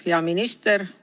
Hea minister!